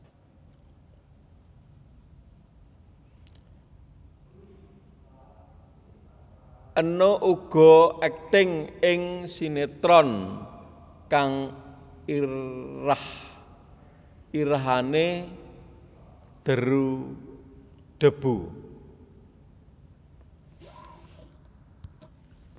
Enno uga akting ing sinetron kang irah irahané Deru Debu